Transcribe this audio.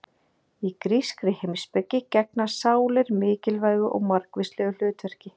Í grískri heimspeki gegna sálir mikilvægu og margvíslegu hlutverki.